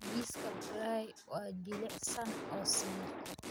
Jiiska Brie waa jilicsan oo siman.